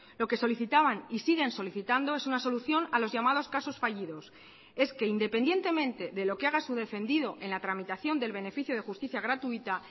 lo que solicitaban y siguen solicitando es una solución a los llamados casos fallidos es que independientemente de lo que haga su defendido en la tramitación del beneficio de justicia gratuita